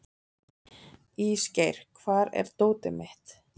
Ísgeir, hvar er dótið mitt?